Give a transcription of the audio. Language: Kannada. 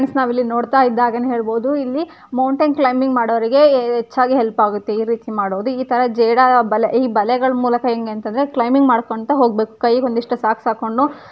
ಫ್ರೆಂಡ್ಸ್ ನಾವು ಇಲ್ಲಿ ನೋಡ್ತಾ ಇದ್ದಾಗೆನೆ ಹೇಳಬಹುದು ಇಲ್ಲಿ ಮೌಂಟನ್ ಕ್ಲೈಂಬಿಂಗ್ ಮಾಡೋವ್ರಿಗೆ ಹೆಚ್ಚಾಗಿ ಹೆಲ್ಪ್ ಆಗುತ್ತೆ ಈ ರೀತಿ ಮಾಡೋದು ಈ ತರಹ ಜೇಡರ ಬಲೇ ಈ ಬಲೇ ಮೂಲಕ ಹೆಂಗಂತದ್ರೆ ಕ್ಲೈಂಬಿಂಗ್ ಮಾಡ್ಕೊಂತ ಹೋಗ್ಬೇಕ್ ಕೈಗೆ ಒಂದಿಷ್ಟು ಸಾಕ್ಸ್ ಹಾಕ್ಕೊಂಡು --